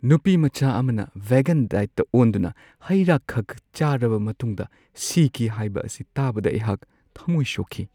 ꯅꯨꯄꯤ ꯃꯆꯥ ꯑꯃꯅ ꯚꯦꯒꯟ ꯗꯥꯏꯠꯇ ꯑꯣꯟꯗꯨꯅ ꯍꯩ-ꯔꯥꯈꯛ ꯆꯥꯔꯕ ꯃꯇꯨꯡꯗ ꯁꯤꯈꯤ ꯍꯥꯏꯕ ꯑꯁꯤ ꯇꯥꯕꯗ ꯑꯩꯍꯥꯛ ꯊꯝꯃꯣꯏ ꯁꯣꯛꯈꯤ ꯫